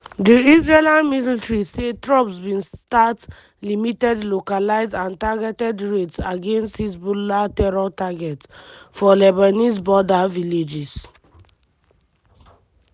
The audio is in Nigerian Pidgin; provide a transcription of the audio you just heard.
di israeli military say troops bin start "limited localised and targeted raids against hezbollah terror targets" for lebanese border villages.